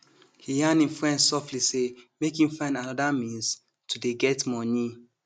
he yarn him friend softly say make him find other means to dey get money